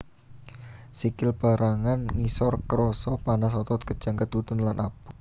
Sikil pérangan ngisor krasa panas otot kejang keduten lan aboh